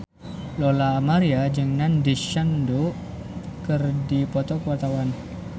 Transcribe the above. Lola Amaria jeung Nandish Sandhu keur dipoto ku wartawan